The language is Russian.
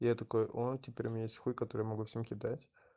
я такой о теперь у меня есть хуй который я могу всем кидать